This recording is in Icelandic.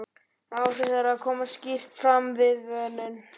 Áhrif þeirra koma skýrt fram við vönun.